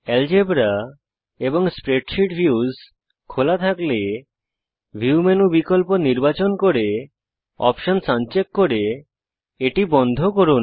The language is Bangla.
এলজেব্রা এবং স্প্রেডশীট ভিউস খোলা থাকলে ভিউ মেনু বিকল্প নির্বাচন করে অপশনস আনচেক করে এটি বন্ধ করুন